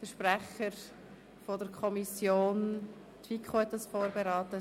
Die FiKo hat das Geschäft vorberaten.